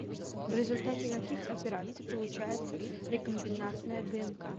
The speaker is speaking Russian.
в результате каких операций получается рекомбинантная днк